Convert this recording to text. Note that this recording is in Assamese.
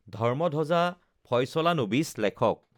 ধৰ্ম্মধব্জা ফয়চলা নবিচ লেখক